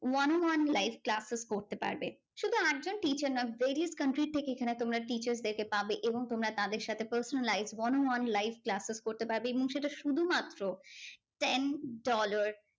one on onelive classes করতে পারবে শুধু একজন teacher না various country থেকে এখানে তোমরা teachers দেরকে পাবে এবং তোমরা তাদের সাথে personal live one on onelive classes করতে পারবে এবং সেটা শুধুমাত্র ten dollar